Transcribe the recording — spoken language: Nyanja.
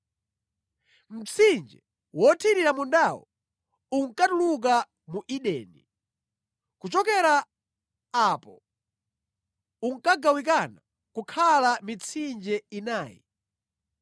Mtsinje wothirira mundawo unkatuluka mu Edeni; kuchokera apo unkagawikana kukhala mitsinje inayi.